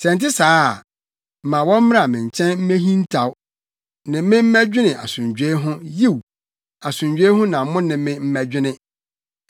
Sɛ ɛnte saa a, ma wɔmmra me nkyɛn mmehintaw; ne me mmɛdwene asomdwoe ho Yiw, asomdwoe ho na mo ne me mmɛdwene.”